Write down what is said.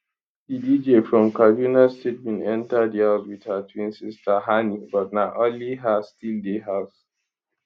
di dj from kaduna state bin enta di house wit her twin sister hanni but na only her still dey house